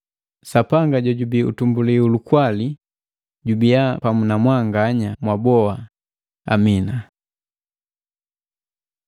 Sapanga jojubii utumbuli ulukwali jubia pamu na mwanganya mwaboha! Amina.